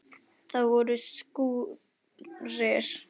Það voru skúrir.